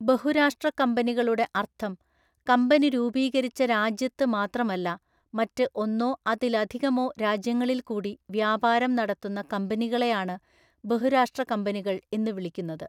ബഹുരാഷ്ട്ര കമ്പനികളുടെ അർത്ഥം, കമ്പനി രൂപീകരിച്ച രാജ്യത്ത് മാത്രമല്ല മറ്റ് ഒന്നോ അതിലധികമോ രാജ്യങ്ങളിൽ കൂടി വ്യാപാരം നടത്തുന്ന കമ്പിനികളെയാണ് ബഹുരാഷ്ടകമ്പനികൾ എന്ന് വിളിക്കുന്നത്.